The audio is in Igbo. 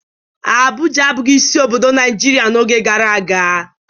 Abụja abụghị isi obodo Naịjirịa n'oge gara aga.